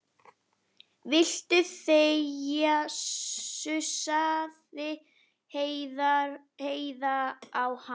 Viltu þegja, sussaði Heiða á hana.